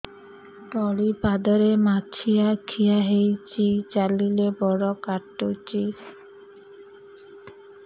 ତଳିପାଦରେ ମାଛିଆ ଖିଆ ହେଇଚି ଚାଲିଲେ ବଡ଼ କାଟୁଚି